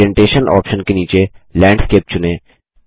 orientation option के नीचे landscape चुनें